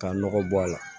K'a nɔgɔ bɔ a la